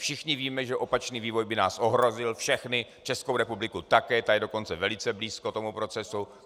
Všichni víme, že opačný vývoj by nás ohrozil všechny, Českou republiku také, ta je dokonce velice blízko tomu procesu.